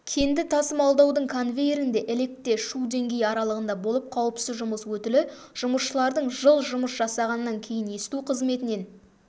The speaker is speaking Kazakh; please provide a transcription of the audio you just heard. кенді тасымалдаудың конвейерінде електе шу деңгейі аралығында болып қауіпсіз жұмыс өтілі жұмысшылардың жыл жұмыс жасағаннан кейін есту қызметінен